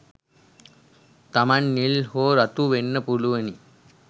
තමන් නිල් හෝ රතු වෙන්න පුළුවනි